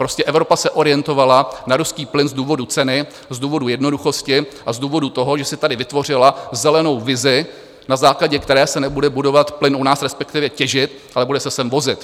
Prostě Evropa se orientovala na ruský plyn z důvodu ceny, z důvodu jednoduchosti a z důvodu toho, že si tady vytvořila zelenou vizi, na základě které se nebude budovat plyn u nás, respektive těžit, ale bude se sem vozit.